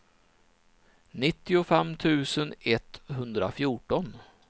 nittiofem tusen etthundrafjorton